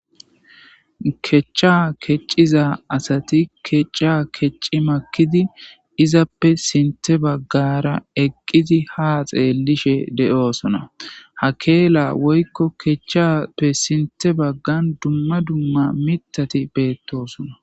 kecha kecciza asati kecca kecci makidi izappe sinte baggara eqqidi ha xeellishe de7oosona hakeela woykko kechchappe sinte baggan dumma dumma mitati beettosona